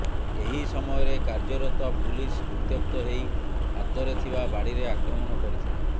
ଏହି ସମୟରେ କାର୍ୟ୍ୟରତ ପୁଲିସ ଉତ୍ୟକ୍ତ ହେଇ ହାତରେ ଥିବା ବାଡ଼ିରେ ଆକ୍ରମଣ କରିଥିଲେ